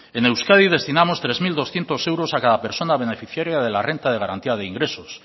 en euskadi destinamos tres mil doscientos euros a cada persona beneficiaria de la renta de garantía de ingresos